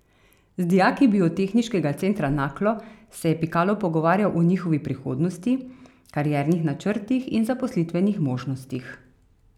Z dijaki Biotehniškega centra Naklo se je Pikalo pogovarjal o njihovi prihodnosti, kariernih načrtih in zaposlitvenih možnostih.